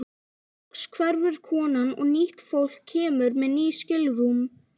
Loks hverfur konan og nýtt fólk kemur með ný skilrúm.